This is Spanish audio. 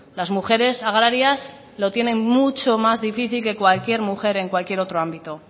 las mujeres agrarias lo tienen mucho más difícil que cualquier mujer en cualquier otro ámbito